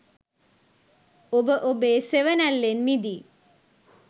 ඔබ ඔබෙ සෙවනැල්ලෙන් මිදී